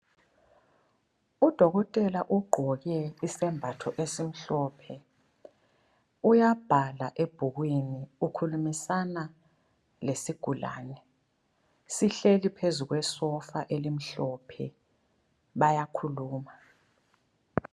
Udokothela ugqoke isembatho esimhlophe uyabhala ebhukwini ukhulumisana lesigulane .Sihleli phezu kwesofa elimhlophe ,bayakhuluma.